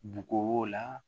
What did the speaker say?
Bugu la